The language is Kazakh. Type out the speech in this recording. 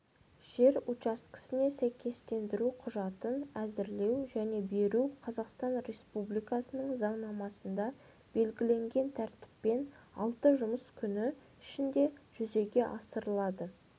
жер учаскесіне сәйкестендіру құжатын әзірлеу және беру қазақстан республикасының заңнамасында белгіленген тәртіппен алты жұмыс күні ішінде жүзеге асырылады